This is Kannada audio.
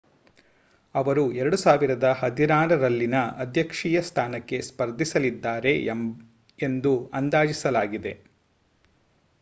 ಅವರು 2016ರಲ್ಲಿನ ಅಧ್ಯಕ್ಷೀಯ ಸ್ಥಾನಕ್ಕೆ ಸ್ಪರ್ಧಿಸಲಿದ್ದಾರೆ ಎಂದು ಅಂದಾಜಿಸಲಾಗಿದೆ